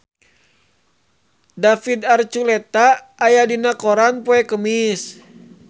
David Archuletta aya dina koran poe Kemis